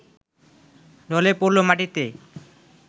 ঢলে পড়ল মাটিতে